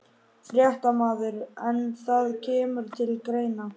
Fréttamaður: En það kemur til greina?